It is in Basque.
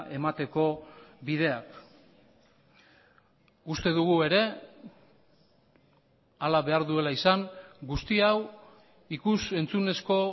emateko bideak uste dugu ere hala behar duela izan guzti hau ikus entzunezko